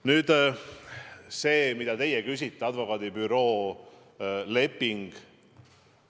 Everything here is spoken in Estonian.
Nüüd see, mida teie küsite: advokaadibüroo leping.